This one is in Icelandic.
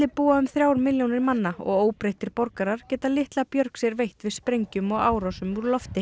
búa um þrjá milljónir manna og óbreyttir borgarar geta litla björg sér veitt við sprengjum og árásum úr lofti